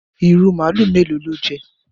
Ìrù màlúù mélòó lo jẹ?